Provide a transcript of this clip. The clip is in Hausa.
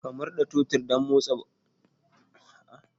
Ka murda totur din domin motsa babur din gaba